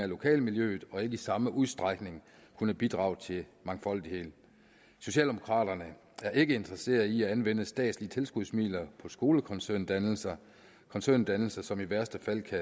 lokalmiljøet og vil ikke i samme udstrækning kunne bidrage til mangfoldigheden socialdemokraterne er ikke interesseret i at anvende statslige tilskudsmidler på skolekoncerndannelser koncerndannelser som i værste fald kan